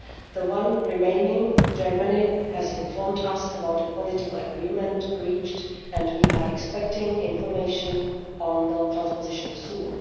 The one remaining, Germany, has informed us about a political agreement reached and we are expecting information on the transposition soon.